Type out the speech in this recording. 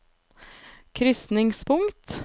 krysningspunkt